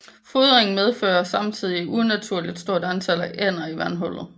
Fodring medfører samtidig et unaturligt stort antal af ænder i vandhullet